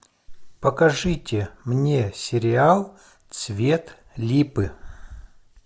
покажите мне сериал цвет липы